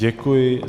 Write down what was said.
Děkuji.